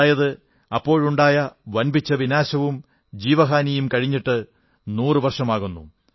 അതായത് അപ്പോഴുണ്ടായ വമ്പിച്ച വിനാശവും ജീവഹാനിയും കഴിഞ്ഞിട്ട് നൂറു വർഷമാകും